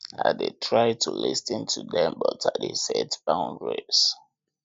i dey try to lis ten to dem but i dey set boundaries